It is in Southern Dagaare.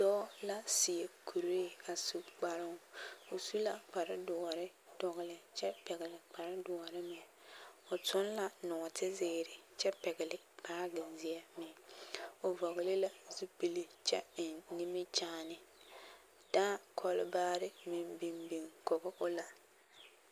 Dɔɔ la seɛ kuree a su kparoŋ, o su la kpare doɔre dɔgele kyɛ pɛgele kpare doɔre meŋ, o toŋ la nɔɔte zeere kyɛ pɛgele baagi zeɛ meŋ, o vɔgele la zupili kyɛ eŋ nimikyaane, dãã kɔlbaare meŋ biŋ biŋ kɔge o la.